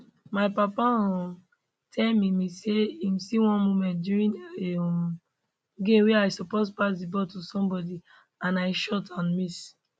my papa um tell me me say im see one moment during a um game wia i suppose pass di ball to somebody and i shot and miss